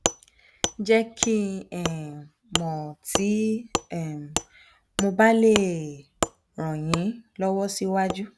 jẹ́ kí um n mọ̀ tí um mo bá lè um ràn yín lọ́wọ́ síwájú